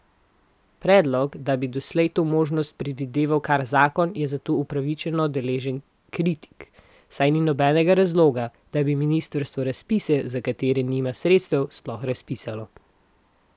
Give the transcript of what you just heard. Predlog, da bi odslej to možnost predvideval kar zakon, je zato upravičeno deležen kritik, saj ni nobenega razloga, da bi ministrstvo razpise, za katere nima sredstev, sploh razpisalo.